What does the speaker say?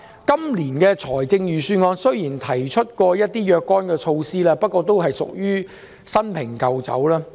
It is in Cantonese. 雖然本年度預算案提出了若干措施，不過都屬於"新瓶舊酒"。